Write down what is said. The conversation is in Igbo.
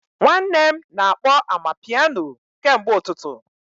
Nwanne m na-akpọ amapiano kemgbe ụtụtụ